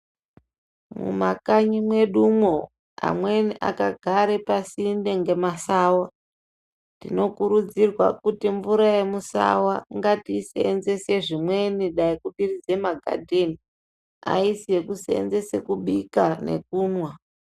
Mumakanyi medumo mwo amweni akagarpasinde ne masawa tinokurudzirwa kuti mvura yemusawa ngatiyi sevenzese zvimweni dai kudiridze magadeni hayisi yekuseenzesa kubika nekunwa.